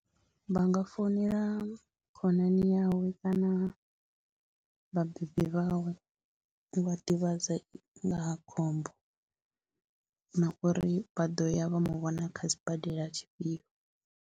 Vha nga founela khonani yawe kana vhabebi vhawe vha ḓivhadza nga ha khombo na uri vha ḓo ya vha mu vhona kha sibadela tshifhio.